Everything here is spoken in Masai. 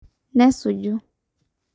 Nesuju.